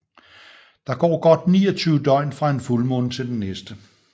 Der går godt 29 døgn fra en fuldmåne til den næste